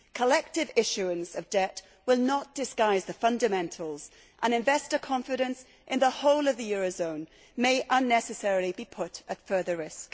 Collective issuance of debt will not disguise the fundamentals and investor confidence in the whole of the euro zone may unnecessarily be put at further risk.